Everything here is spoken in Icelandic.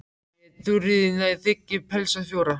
En þegar ég í Þuríði næ þigg ég pelsa fjóra.